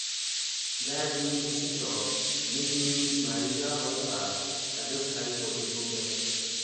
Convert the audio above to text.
that evening visitor make me miss my usual hot baff i just carry body go bed